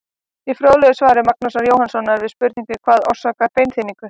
Í fróðlegu svari Magnúsar Jóhannssonar við spurningunni Hvað orsakar beinþynningu?